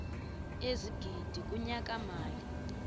ezigidi kunyaka mali